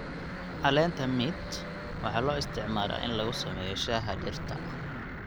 Caleenta mint waxaa loo isticmaalaa in lagu sameeyo shaaha dhirta.